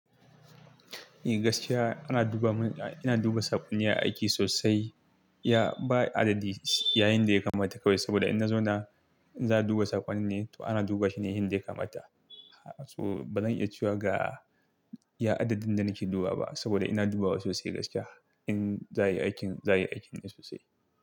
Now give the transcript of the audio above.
Eh gaskiya ana duba mun, ina duba saƙonni a aiki sosai. Ya ba adadi yayinda ya kamata kawai saboda in na zauna, in za a duba saƙonni ne to ana duba shi ne yanda ya kamata. So bazan iya cewa ga ya adadin da nake dubawa ba saboda ina dubawa sosai gaskiya. In za yi aikin, za yi aikin ne sosai.